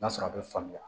N'a sɔrɔ a bɛ faamuya